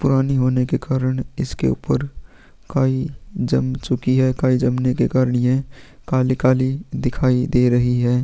पुरानी होने कारन इस के ऊपर काई जम चुकी ही काई जमने के कारन ये काली काली दिखाई दे रही है--